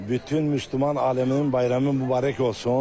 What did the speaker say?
Bütün Müsəlman aləminin bayramı mübarək olsun.